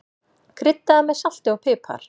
Kryddaðu með salti og pipar.